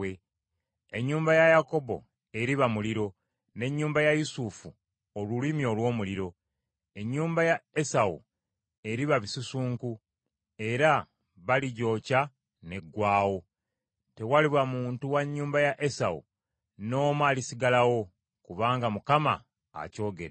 Ennyumba ya Yakobo eriba omuliro, n’ennyumba ya Yusufu olulimi olw’omuliro. Ennyumba ya Esawu eriba bisusunku, era baligyokya n’eggwaawo. Tewaliba muntu wa nnyumba ya Esawu n’omu alisigalawo, kubanga Mukama akyogedde.